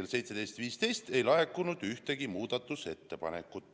17.15 ei laekunud ühtegi muudatusettepanekut.